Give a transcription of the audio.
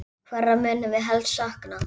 Hverra munum við helst sakna?